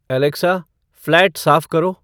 Alexa flat साफ करो